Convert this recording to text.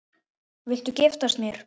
Viltu giftast mér?